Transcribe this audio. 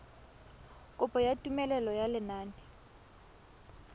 kopo ya tumelelo ya lenane